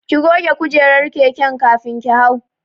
Ki goge kujerar keken kafin ki hau.